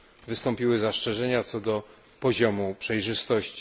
wystąpiły zastrzeżenia co do poziomu przejrzystości.